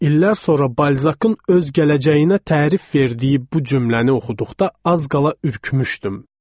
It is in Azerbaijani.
İllər sonra Balzakın öz gələcəyinə tərif verdiyi bu cümləni oxuduqda az qala ürkmüşdük.